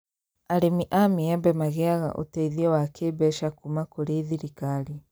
Arĩmi a maembe magĩaga ũteithio wa kĩmbeca kuma kũrĩ thirikari